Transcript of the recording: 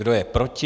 Kdo je proti?